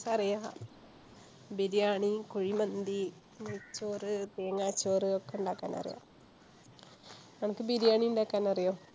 ട്ടറിയാ ബിരിയാണി, കുഴിമന്തി, നെയ്‌ച്ചോറ്, തേങ്ങാച്ചോറ് ഒക്കെണ്ടാക്കാനറിയാം. അനക്ക് ബിരിയാണിണ്ടാക്കാൻ അറിയോ?